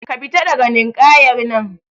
ka fita daga Ninkayar nan